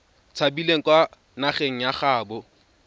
tshabileng kwa nageng ya gaabo